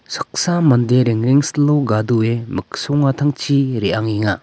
saksa mande rengrengsilo gadoe miksongatangchi re·angenga.